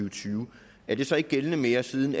og tyve er det så ikke gældende mere siden